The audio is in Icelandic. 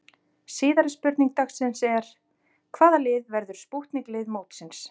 Síðari spurning dagsins er: Hvaða lið verður spútnik lið mótsins?